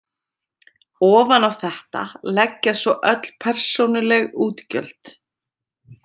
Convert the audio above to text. Ofan á þetta leggjast svo öll persónuleg útgjöld.